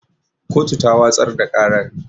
Kotu ta watsar da ƙarar